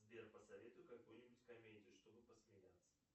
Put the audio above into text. сбер посоветуй какую нибудь комедию чтобы посмеяться